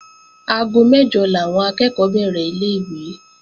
Aago mẹ́jọ làwọn akẹ́ẹ̀kọ́ bẹ̀rẹ̀ ilé-ìwé